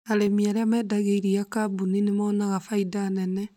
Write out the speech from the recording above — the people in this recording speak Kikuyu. Arĩmi arĩa mendagĩria iria kambuni nĩ monaga faida nene